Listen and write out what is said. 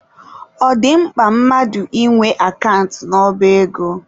Ọ dị mkpa mmadụ ị nwe akant n'ọba ego.